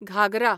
Ghaghara